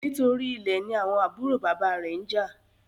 Nítorí Ilè ní àwọn àbúrò bàbá rẹ njà